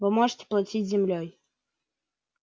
вы можете платить землёй